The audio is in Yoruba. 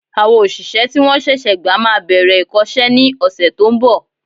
Àwọn òṣìṣẹ́ tí wọ́n ṣẹ̀ṣẹ̀ gba máa bẹ̀rẹ̀ ìkọ́sẹ́ ní ọ̀sẹ̀ to ń bọ̀